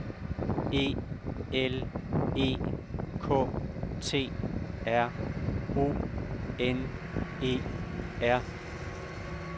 E L E K T R O N E R